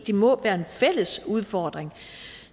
det må være en fælles udfordring